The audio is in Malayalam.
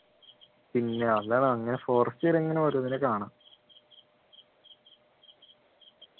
പിന്നെ അതാണ് forest കേറിയാൽ ഇങ്ങനെ ഓരോന്നിനെ കാണാം